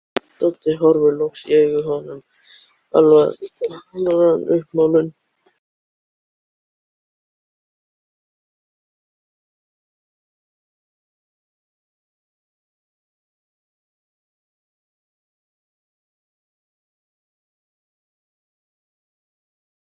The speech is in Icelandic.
Tók samt ekki eftir því hvað var að gerast.